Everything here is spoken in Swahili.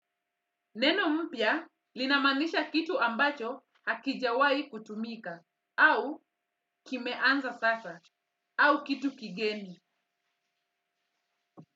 Neno mpya linamaanisha kitu ambacho hakijawahi kutumika au kimeanza sasa au kitu kigeni.